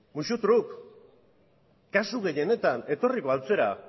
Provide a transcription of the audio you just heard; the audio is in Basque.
musutruk kasu gehienetan etorriko al zara